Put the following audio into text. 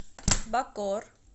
бакоор